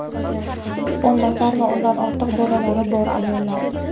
o‘n nafar va undan ortiq bolalari bor ayollar.